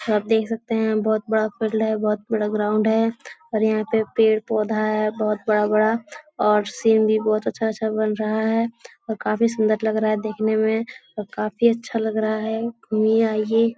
और आप देख सकते हैं बहोत बड़ा फील्ड है बहोत बड़ा ग्राउंड है और यहाँ पे पेड़-पौधा है बहोत बड़ा-बड़ा और सीन भी बहोत अच्छा-अच्छा बन रहा है और काफी सुंदर लग रहा देखने में और काफी अच्छा लग रहा है घूमिए आइए।